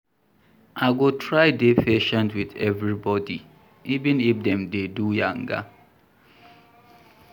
I go try dey patient wit everybodi, even if dem dey do yanga.